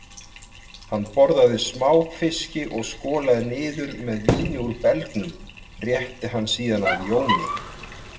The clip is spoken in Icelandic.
Hann borðaði smáfiski og skolaði niður með víni úr belgnum, rétti hann síðan að Jóni